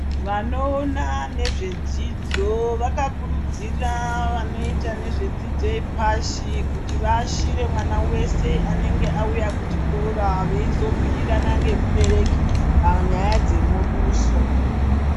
Vanoona nezvedzidzo vakakurudziya vanoita nezvedzidzo yepashi kuti vaashire mwana veshe anenge auya kuchikora, veizobhuirana ngemubereki panyaya dzemuduso.